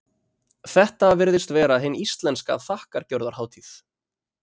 Þetta virðist vera hin íslenska þakkargjörðarhátíð.